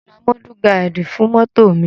Mo ra mọ́dù gaádì fún mọ́tò mi.